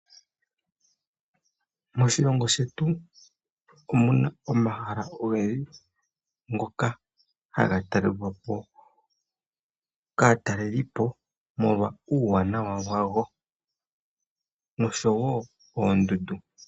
Moshilongo shetu omuna omahala ogendji ngoka haga talelwapo kaatalelipo omolwa uuwanawa wago noshowo oondundu.